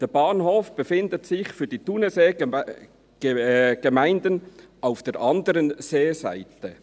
Der Bahnhof befindet sich für die Thunerseegemeinden auf der anderen Seeseite.